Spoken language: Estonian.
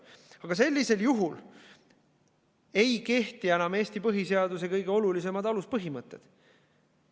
Aga sellisel juhul ei kehti enam Eesti põhiseaduse kõige olulisemad aluspõhimõtted.